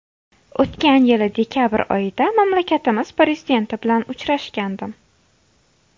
O‘tgan yili dekabr oyida mamlakatimiz Prezidenti bilan uchrashgandim.